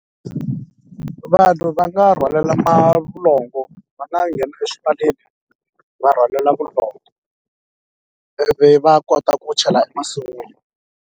Vanhu va nga rhwalela malongo va nga nghena eswivaleni va rhwalela vulongo ivi va kota ku chela masun'wini.